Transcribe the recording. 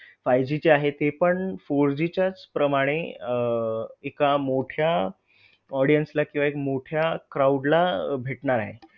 Five G ची आहे ते पण four G च्या च प्रमाणे अह एका मोठ्या audience ला किंवा एक मोठ्या crowd ला भेटणार आहे.